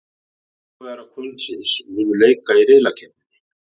Sigurvegarar kvöldsins munu leika í riðlakeppninni.